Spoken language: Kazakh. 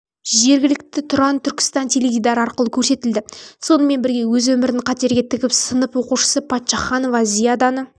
жергілікті тұран-түркістан теледидары арқылы көрсетілді сонымен бірге өз өмірін қатерге тігіп сынып оқушысы паччаханова зияданы